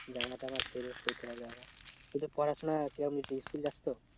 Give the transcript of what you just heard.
তুই তোর পড়াশোনা কেরাম school যাস তো?